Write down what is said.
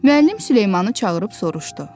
Müəllim Süleymanı çağırıb soruşdu.